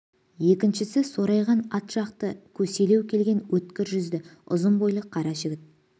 екіншісі сорайған ат жақты көселеу келген өткір жүзді ұзын бойлы қара жігіт